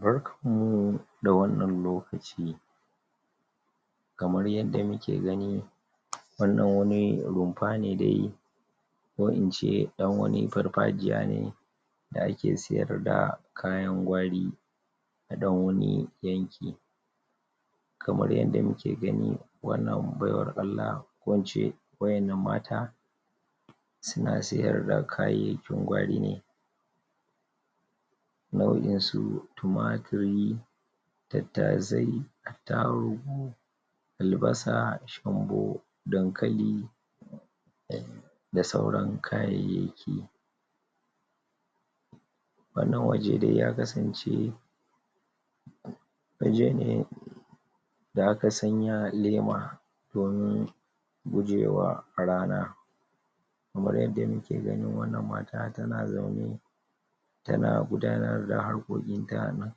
barkan mu da wannan lokaci kamar yadda muke gani wannan wani rumfa ne dai ko ince ɗan wani farfajiya ne da ake siyar da kayan gwari a ɗan wani yanki kamar yadda muke gani wannan baiwar Allah ko ince waƴannan mata suna siyarda kayayyakin gwari ne nau'in su tumaturi tattasai attaruhu aldasa ,shambo ,dankali da sauran kayayyaki wannan waje dai ya kasan ce waje ne da aka sanya lema domin gujewa rana kamar yadda muke gani wannan mata tana zaune tana gudanar da harkokin ta na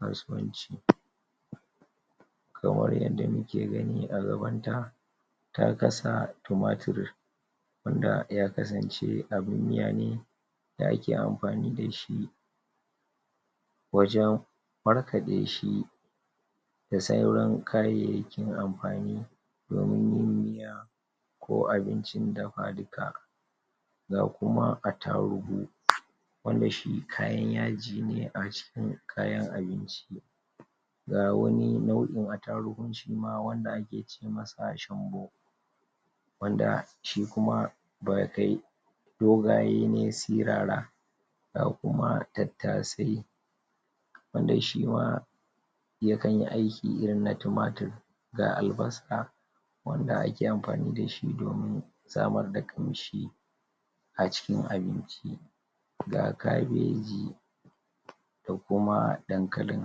kasuwanci kamar yadda muke gani a gabanta ta kasa tumaturi wanda ya kasance abun miya ne da ake amfani dashi wajan markaɗe shi da sauran kayayyakin amfani domin yin miya ko abincin dafa duka ga kuma attaruhu wanda shi kayan yaji ne acikin kayan abinci ga wani nau'in attaruhu shima wanda ake ce masa shambo wanda shi kuma ba kai doga ye ne sirara ga kuma tattasai wanda shima yakan yi aiki irin na tumaturi ga albasa wanda ake amfani dashi domin samar da ƙanshi a cikin abinci ga kabeji da kuma dankalin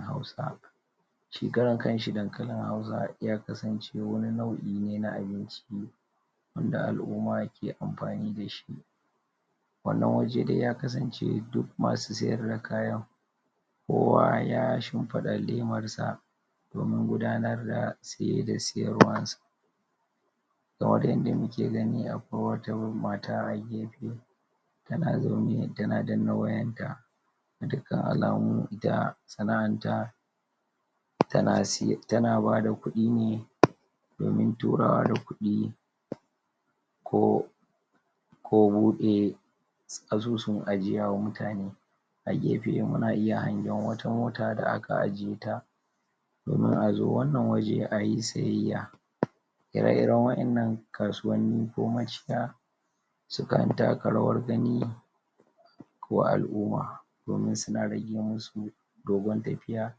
hausa shi karan kanshi dankalin hausa ya kasan ce wani nau'i ne na abinci wanda al'umma ke amfani dashi wannan waje dai ya kasance duk masu siyar da kayan kowa ya shimfiɗa lemarsa domin gudanar da siye da siyarwan sa kamar yadda muke gani akwai wata mata a gefe tana zaune tana danna wayan ta ga dukkan alamu ita sana'an ta tana siye tana bada kuɗi ne domin turawa da kuɗi ko ko buɗe asusun ajiya wa mutane a gefe muna iya hangen wata mota da aka ajiye ta domin a zo wannan waje ayi siyayya ire iren waƴannan kasuwanni ko maciya sukan taka rawar gani ko al'umma domin suna rage musu dogon tafiya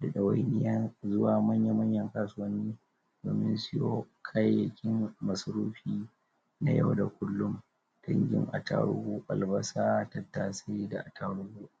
da ɗawainiyan zuwa manya manyan kasuwanni domin siyo kayayyakin masarufi na yau da kullum dangin attaruhu ,albasa, tattasai da attaruhu da